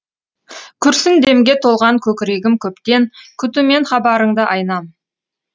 күрсін демге толған көкірегім көптен күтумен хабарыңды айнам